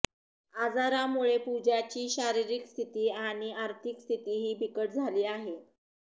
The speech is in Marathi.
आजारामुळे पूजाची शारिरीक स्थिती आणि आर्थिक स्थितीही बिकट झाली आहे